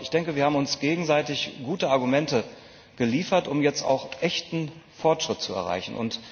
Aber wir haben uns gegenseitig gute Argumente geliefert, um jetzt auch echten Fortschritt zu erreichen.